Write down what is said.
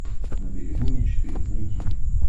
на берегу мечты найти